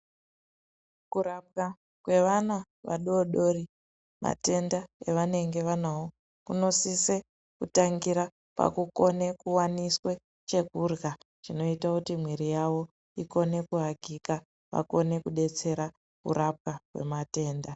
Kurapwa kwevana vadoodori matenda evanenge vanawo kunosise kutangira pakukone kuwaniswe chekurya chinoitekuti mwiri yawo ikone kuekita vakone kudetsera kurapwa matenda.